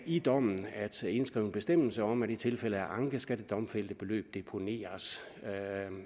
i dommen at indskrive en bestemmelse om at i tilfælde af anke skal det domfældte beløb deponeres